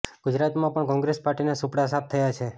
ગુજરાતમાં પણ કોંગ્રેસ પાર્ટીના સુપડા સાફ થયા છે